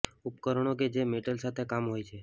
ઉપકરણો કે જે મેટલ સાથે કામ હોય છે